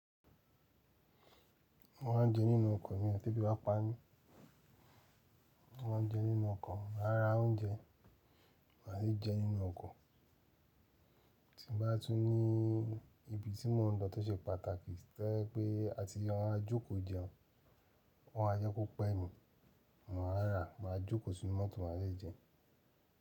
Wọ́n á jẹ nínú ọkọ̀ ni ọtí bíba pá mi, wọ́n á jẹ nínú ọkọ̀. Màá ra oúnjẹ máa sì jẹ nínú ọkọ̀. Tí n bá tún ní ibi tí mò n lọ tó ṣe pàtàkì, tẹ́ pé a ti wọn á jókòó jẹun, wọ́n á yọ kókó pẹ́ mi, mò a rà, máa jókòó sínu mọ́tò máa sì jẹ.